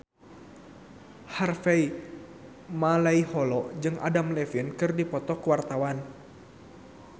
Harvey Malaiholo jeung Adam Levine keur dipoto ku wartawan